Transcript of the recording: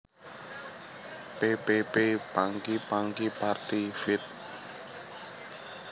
P P P Punky Punky Party feat